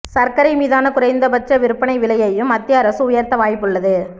சர்க்கரை மீதான குறைந்தபட்ச விற்பனை விலையையும் மத்திய அரசு உயர்த்த வாய்ப்புள்ளது